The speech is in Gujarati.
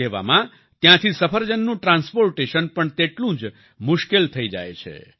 તેવામાં ત્યાંથી સફરજનનું ટ્રાન્સપોર્ટેશન પણ તેટલું જ મુશ્કેલ થઈ જાય છે